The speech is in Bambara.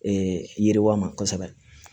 yiriwa ma kosɛbɛ